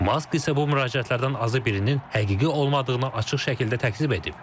Mask isə bu müraciətlərdən azı birinin həqiqi olmadığını açıq şəkildə təkzib edib.